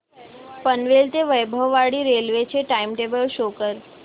पनवेल ते वैभववाडी रेल्वे चे time table show करा